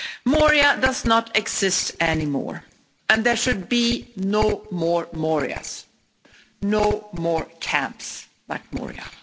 Moria does not exist anymore, and there should be no more Morias no more camps like Moria.